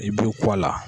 I b'i kɔ a la